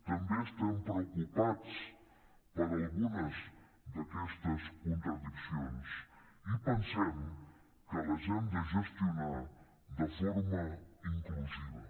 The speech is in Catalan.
també estem preocupats per algunes d’aquestes contradiccions i pensem que les hem de gestionar de forma inclusiva